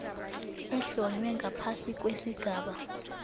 ehlonywe ngaphasi kwesigaba